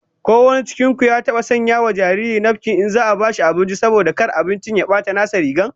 Ko wanin cikin ku ya taba sanya wa jariri nafkin in za'a bashi abinci, saboda kar abinci ya bata nasa riga?